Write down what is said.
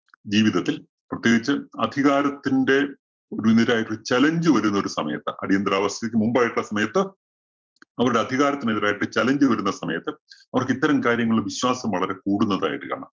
ജീവിതത്തിൽ പ്രത്യേകിച്ച് അധികാരത്തിന്റെ മുന്നിലായിട്ട് ഒരു challenge വരുന്ന ഒരു സമയത്ത് അടിയന്തരാവസ്ഥയ്ക്ക് മുമ്പായിട്ടുള്ള സമയത്ത് അവരുടെ അധികാരത്തിനെതിരായിട്ട് challenge വരുന്ന സമയത്ത് അവര്‍ക്ക് ഇത്തരം കാര്യങ്ങളില്‍ വിശ്വാസം വളരെ കൂടുന്നതായിട്ട് കാണാം.